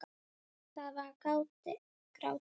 Það var grátið!